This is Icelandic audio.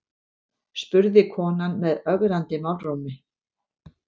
spurði konan með ögrandi málrómi.